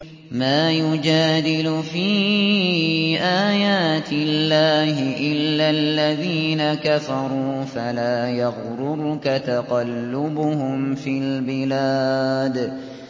مَا يُجَادِلُ فِي آيَاتِ اللَّهِ إِلَّا الَّذِينَ كَفَرُوا فَلَا يَغْرُرْكَ تَقَلُّبُهُمْ فِي الْبِلَادِ